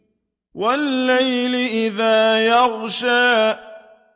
وَاللَّيْلِ إِذَا يَغْشَىٰ